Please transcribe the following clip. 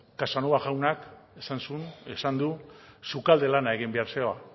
casanova jaunak esan zuen esan du sukalde lana egin behar zela